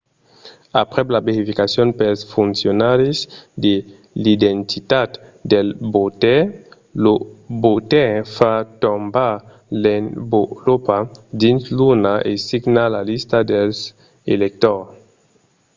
aprèp la verificacion pels foncionaris de l’identitat del votaire lo votaire fa tombar l’envolopa dins l'urna e signa la lista dels electors